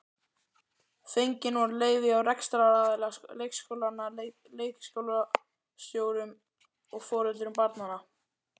Fengin voru leyfi hjá rekstraraðila leikskólanna, leikskólastjórum og foreldrum barnanna.